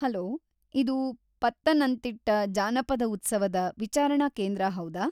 Hello, ಇದು ಪತ್ತನಂತಿಟ್ಟ ಜಾನಪದ ಉತ್ಸವದ ವಿಚಾರಣಾ ಕೇಂದ್ರ ಹೌದಾ?